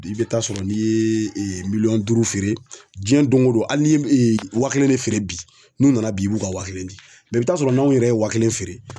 I be taa sɔrɔ n'i yee miliyɔn duuru feere diɲɛ doŋo don hali n'i ye m wa kelen ne feere bi n'u nana bi i b'u ka wa kelen di i bi taa'a sɔrɔ n'anw yɛrɛ ye wa kelen feere